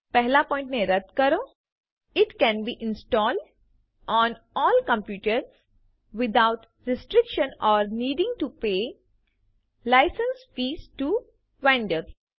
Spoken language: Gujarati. પહેલા પોઈન્ટ ને રદ્દ કરો it can be installed on all computers without restriction or needing to pay licence fees to vendors